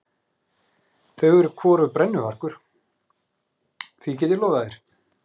Þau eru hvorugt brennuvargur, því get ég lofað þér.